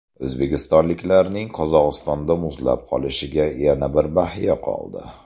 O‘zbekistonliklarning Qozog‘istonda muzlab qolishiga yana bir bahya qoldi.